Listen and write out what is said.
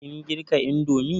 Kin girka indomi?